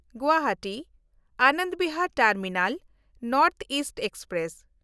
ᱜᱩᱣᱟᱦᱟᱴᱤ-ᱟᱱᱚᱱᱫᱽ Bihar terminal north East express